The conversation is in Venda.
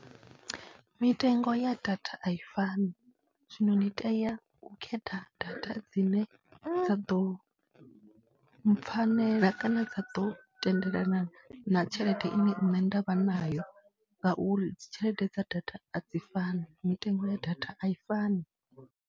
Mitengo ya data a i fani, zwino ndi tea u khetha data dzine dza ḓo mpfhanela kana dza ḓo tendelana na tshelede ine nṋe nda vha nayo ngauri dzi tshelede dza data a dzi fani, mitengo ya data a i fani.